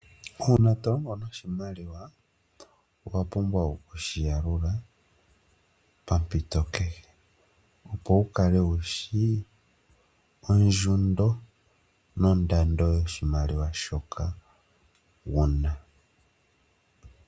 Uuna tolongo noshimaliwa owa pumbwa oku shiyalula pampito kehe opo wukale wushi ondjundo, nondando yoshimaliwa shoka wuna.